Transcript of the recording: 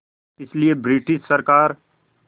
इसलिए ब्रिटिश सरकार